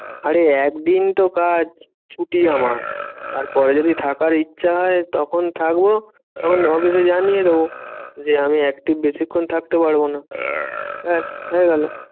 আরে একদিন তো কাজ ছুটি আমার। তারপরে যদি থাকার ইচ্ছা হয় তখন থাকবো তখন তো অফিসে জানিয়ে দেব। যে আমি active বেশিক্ষন থাকতে পারবো না, ব্যাস হয়ে গেলো।